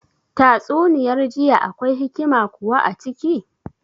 Tatsuniyar jiya akwai hikima kuwa a ciki